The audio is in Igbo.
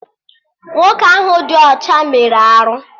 Nwoke ahụ dị ọcha mere arụ